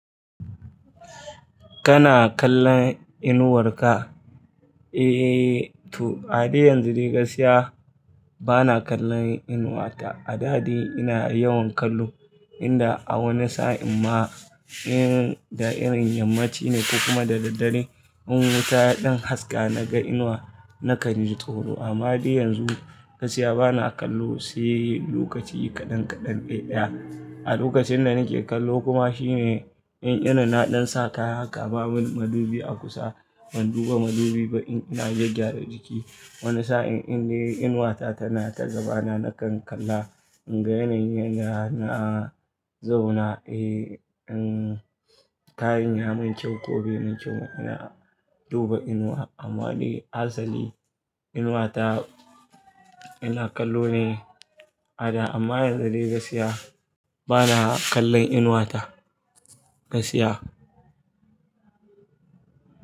Kana kallon inuwar ka? Eh to, a dai yanzu dai gaskiya bana kallon inuwata. A daɗe ina yawan kallo, inda a wani sa'in ma in da irin yammaci ne ko kuma da daddare, in wuta ya ɗan haska naga inuwa nakan ji tsoro. Amma dai yanzu gaskiya bana kallo, sai lokaci kaɗan kaɗan ɗaya ɗaya. A lokacin da nake kallo kuma shine in ina naɗan sa kaya haka babu madubi a kusa, ban duba madubi ba in ina gyagara da jiki. Wani sa'in indai inuwata tana ta gaba na nakan kalla inga yanayin da na zauna. Eh, in kayan ya mun kyau ko bai mun kyau ba ina duba inuwa. Amma dai asali inuwata ina kallo ne a da, amma yanzu dai gaskiya bana kallon inuwata, gaskiya.